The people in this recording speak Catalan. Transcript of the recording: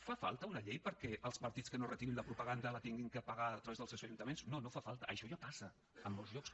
fa falta una llei perquè els partits que no retirin la propaganda l’hagin de pagar a través dels seus ajuntaments no no fa falta això ja passa en molts llocs